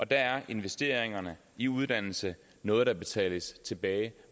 der er investeringerne i uddannelse noget der betales tilbage